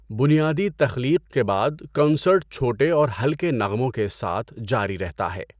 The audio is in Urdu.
بنیادی تخلیق کے بعد، کنسرٹ چھوٹے اور ہلکے نغموں کے ساتھ جاری رہتا ہے۔